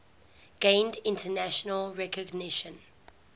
gained international recognition